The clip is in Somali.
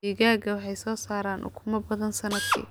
Digaagga waxay soo saaraan ukumo badan sannadkii.